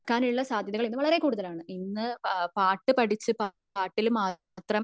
കടക്കാനുള്ള സാധ്യതകൽ ഇന്ന് വളരെ കൂടുതലാണ് ഇന്ന് പാട്ടു പഠിച്ഛ് പാട്ടിൽ മാത്രം